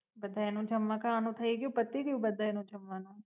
બધાય નું જમવા કારવવાનું થઈ ગ્યું પતિ ગ્યું બધાય નું જમવાનું?